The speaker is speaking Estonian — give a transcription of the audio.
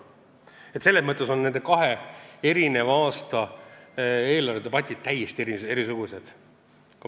Kui me räägime rahanduspoliitikast, siis nende kahe aasta eelarvedebatid on täiesti erisugused.